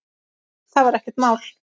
Það var ekkert mál.